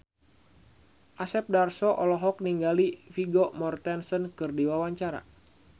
Asep Darso olohok ningali Vigo Mortensen keur diwawancara